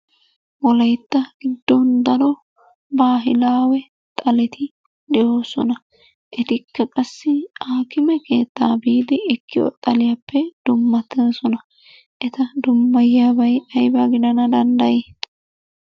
Wolayitta giddon daro baahilawe xaleti de'oosona. Etikka qassi aakime keettaa biidi ekkiyo xaliyappe dummatoosona. Eta dummayiyabay ayba gidana dandayi?